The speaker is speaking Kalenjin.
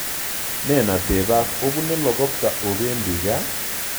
Nenateb obune plokopta obendi gaa?